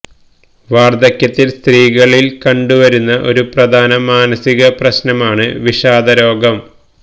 വാര്ധക്യത്തില് സ്ത്രീകളില് കണ്ടുവ രുന്ന ഒരു പ്രധാന മാനസികപ്രശ്നമാണ് വിഷാദ രോഗം